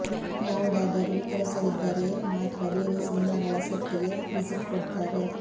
ಯಾವುದಾದರೂ ಕೆಲಸವಿದ್ದರೇ ಮಾತ್ರ ಬೇರೆ ಸಿನಿಮಾಗಳ ಸೆಟ್ ಗೆ ವಿಸಿಟ್ ಕೊಡ್ತಾರೆ